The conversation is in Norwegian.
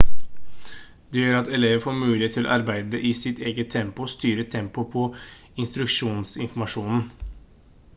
det gjør at elever får mulighet til å arbeide i sitt eget tempo og styre tempoet på instruksjonsinformasjonen